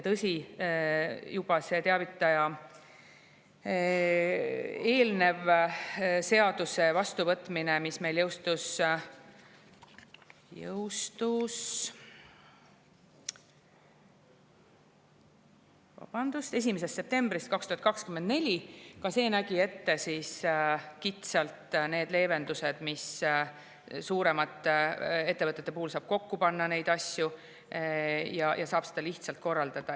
Tõsi, juba eelmine seadus, mis meil jõustus 1. septembril 2024, nägi kitsalt ette leevendusi, näiteks saab suuremate ettevõtete puhul mõningaid asju kokku panna ja muud moodi seda kõike lihtsamini korraldada.